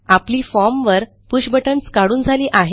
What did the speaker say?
आपली फॉर्म वर push buttons काढून झाली आहेत